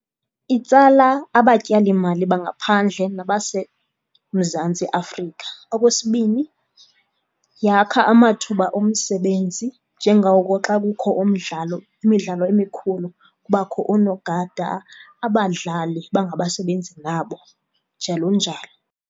Itsala abatyalimali bangaphandle nabaseMzantsi Afrika. Okwesibini, yakha amathuba omsebenzi njengoko xa kukho umdlalo, imidlalo emikhulu kubakho oonogada, abadlali bangabasebenzi nabo, njalonjalo.